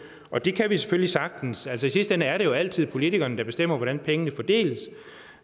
og det kan vi selvfølgelig sagtens altså i sidste ende er det jo altid politikerne der bestemmer hvordan pengene fordeles